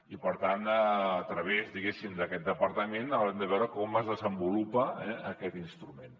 i per tant a través d’aquest departament haurem de veure com es desenvolupa aquest instrument